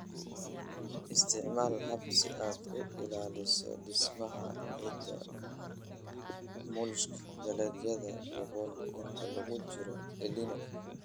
Isticmaal habab si aad u ilaaliso dhismaha ciidda (mulch, dalagyada dabool) inta lagu jiro El Niño